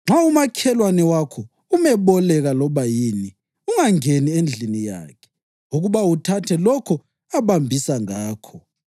Nxa umakhelwane wakho umeboleka loba yini ungangeni endlini yakhe ukuba uthathe lokho abambisa ngakho.